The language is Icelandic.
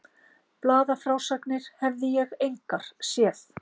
Blaðafrásagnir hefði ég engar séð.